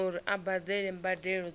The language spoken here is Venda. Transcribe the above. uri a badele mbadelo dza